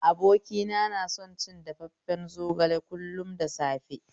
Abokina na son cin dafafen zogale kullum da safe